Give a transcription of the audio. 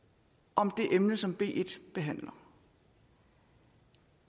om det emne som b en behandler